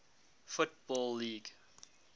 football league